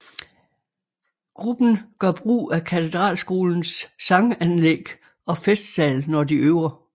Gruppen gør brug af Katedralskolens sanganlæg og festsal når de øver